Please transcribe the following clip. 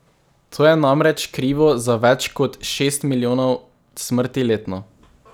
To je namreč krivo za več kot šest milijonov smrti letno.